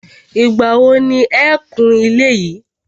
Ìgbà wo ni e kun ilé yìí.